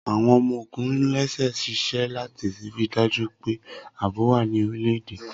Awọn ọmọ-ogun lẹ́sẹsẹ ṣiṣẹ lati rii daju pe aabo wa ní orilẹ-ede.